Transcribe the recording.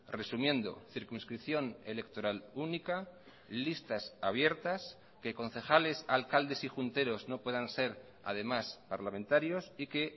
resumiendo circunscripción electoral única listas abiertas que concejales alcaldes y junteros no puedan ser además parlamentarios y que